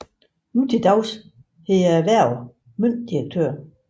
Nu til dags hedder erhvervet møntdirektør